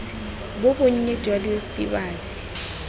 bo bo nnye jwa diritibatsi